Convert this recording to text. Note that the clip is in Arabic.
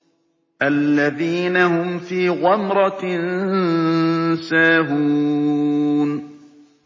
الَّذِينَ هُمْ فِي غَمْرَةٍ سَاهُونَ